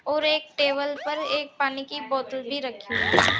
और एक टेबल पर एक पानी की बोतल भी रखी हुई है।